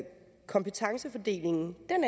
kompetencefordelingen